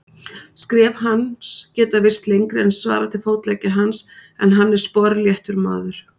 Skref hans geta virst lengri en svarar til fótleggja hans, en hann er sporléttur maður.